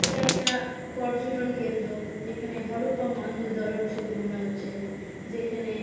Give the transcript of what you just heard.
এটা একটা পর্যটনকেন্দ্র যেখানে হরপ্পা মহেঞ্জোদারোর ছবি মনে হচ্ছে যেখানে--